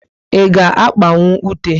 I ga akpanwu ute?